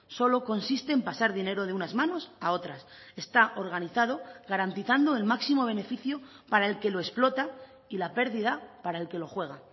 solo consiste en pasar dinero de unas manos a otras está organizado garantizando el máximo beneficio para el que lo explota y la pérdida para el que lo juega